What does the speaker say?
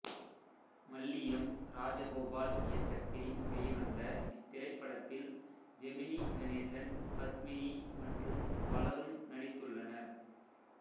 மல்லியம் ராஜகோபால் இயக்கத்தில் வெளிவந்த இத்திரைப்படத்தில் ஜெமினி கணேசன்பத்மினி மற்றும் பலரும் நடித்துள்ளனர்